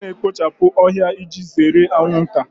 M ga na-ekpochapụ ohia iji zere anwụnta